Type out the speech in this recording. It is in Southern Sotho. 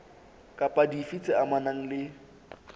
kapa dife tse amanang le